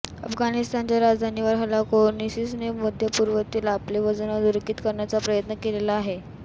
आफगाणिस्तनच्या राजधानीवर हल्ला करून इसिसने मध्यपूर्वेतील आपले वजन अधोरेखित करण्याचा प्रयत्न केलेला आहे